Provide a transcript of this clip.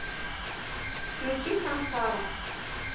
включи сансару